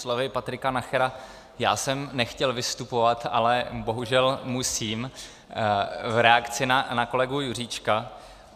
Slovy Patrika Nachera já jsem nechtěl vystupovat, ale bohužel musím v reakci na kolegu Juříčka.